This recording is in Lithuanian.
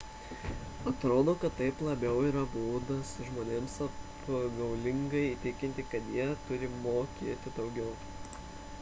atrodo kad tai labiau yra būdas žmonėms apgaulingai įtikinti kad jie turi mokėti daugiau